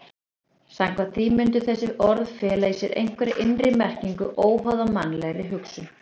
Samkvæmt því mundu þessi orð fela í sér einhverja innri merkingu óháða mannlegri hugsun.